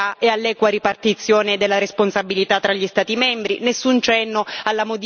nessun cenno alla solidarietà e all'equa ripartizione della responsabilità tra gli Stati membri